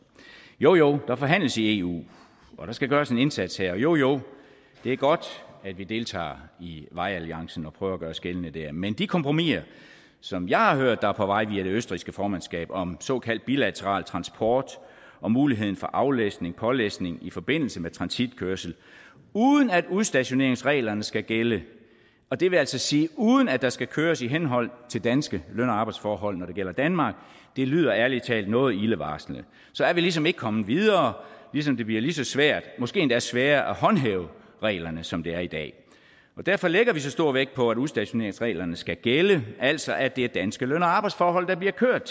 jo jo der forhandles i eu og der skal gøres en indsats her og jo jo det er godt at vi deltager i vejalliancen og prøver at gøre os gældende der men de kompromiser som jeg har hørt der er på vej via det østrigske formandskab om såkaldt bilateral transport og muligheden for aflæsning og pålæsning i forbindelse med transitkørsel uden at udstationeringsreglerne skal gælde og det vil altså sige uden at der skal køres i henhold til danske løn og arbejdsforhold når det gælder danmark lyder ærlig talt noget ildevarslende så er vi ligesom ikke kommet videre ligesom det bliver lige så svært og måske endda sværere at håndhæve reglerne som det er i dag og derfor lægger vi så stor vægt på at udstationeringsreglerne skal gælde altså at det er danske løn og arbejdsforhold der bliver kørt